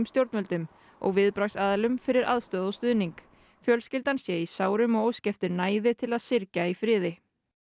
stjórnvöldum og viðbragðsaðilum fyrir aðstoð og stuðning fjölskyldan sé í sárum og óski eftir næði til að syrgja í friði